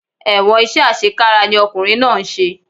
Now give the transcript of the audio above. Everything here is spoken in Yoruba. Ẹ̀wọ̀n iṣẹ́ àṣekára ni ọkùnrin náà ń ṣe